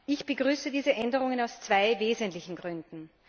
Ich begrüße diese Änderungen aus zwei wesentlichen Gründen.